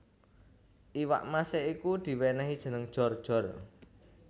Iwak mase iku diwenehi jeneng Jor jor